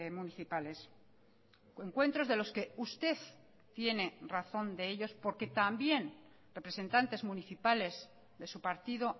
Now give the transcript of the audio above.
municipales encuentros de los que usted tiene razón de ellos porque también representantes municipales de su partido